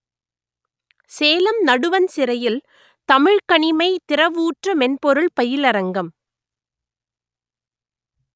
சேலம் நடுவண் சிறையில் தமிழ்க்கணிமை திறவூற்று மென்பொருள் பயிலரங்கம்